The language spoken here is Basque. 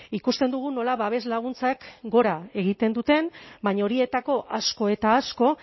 ikusten dugu nola babes laguntzak gora egiten duten baina horietako asko eta asko